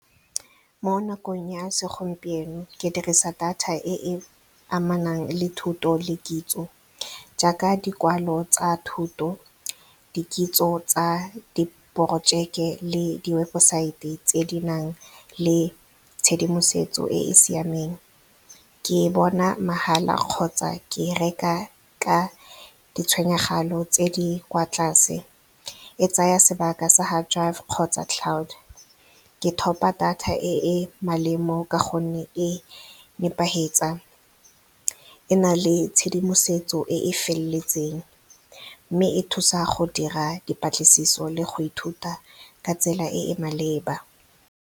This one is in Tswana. Mo nakong ya segompieno ke dirisa data e e amanang le thuto le kitso jaaka dikwalo tsa thuto, dikitso tsa di-projeke le di-webosaete tse di nang le tshedimosetso e e siameng. Ke e bona mahala kgotsa ke reka ka tse di kwa tlase. E tsaya sebaka sa hard drive kgotsa cloud. Ke thopa data e e ka gonne e . E na le tshedimosetso e e feletseng mme e thusa go dira dipatlisiso le go ithuta ka tsela e e maleba.